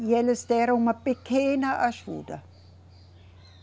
E eles deram uma pequena ajuda.